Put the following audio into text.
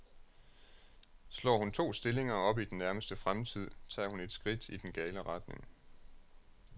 Slår hun to stillinger op i den nærmeste fremtid, tager hun et skridt i den gale retning.